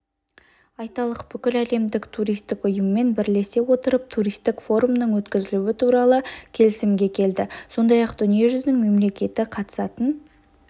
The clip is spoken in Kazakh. айталық бүкіләлемдік туристік ұйыммен бірлесе отырып туристік форумның өткізілуі туралы келісімге келді сондай-ақ дүниежүзінің мемлекеті қатысатын